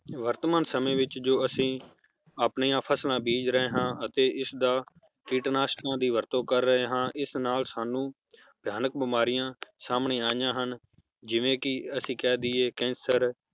ਵਰਤਮਾਨ ਸਮੇ ਵਿਚ ਜੋ ਅੱਸੀ ਆਪਣੀਆਂ ਫਸਲਾਂ ਬੀਜ ਰਹੇ ਹਾਂ ਅਤੇ ਇਸ ਦਾ ਕੀਟਨਾਸ਼ਟਨਾਂ ਦੀ ਵਰਤੋਂ ਕਰ ਰਹੇ ਹਾਂ ਇਸ ਨਾਲ ਸਾਨੂੰ ਭਯਾਨਕ ਬਿਮਾਰੀਆਂ ਸਾਮਣੇ ਆਈਆਂ ਹਨ, ਜਿਵੇ ਕੀ ਅੱਸੀ ਕਹਿ ਦਇਏ cancer